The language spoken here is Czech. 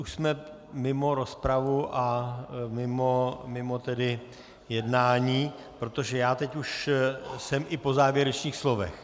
Už jsme mimo rozpravu a mimo jednání, protože já teď už jsem i po závěrečných slovech.